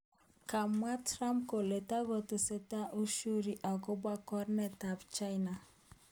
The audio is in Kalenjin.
Komwa Trump kole takotesetai ushuru akobo karnok ab China